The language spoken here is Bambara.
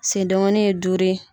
Sen dengonuw ye duuru ye.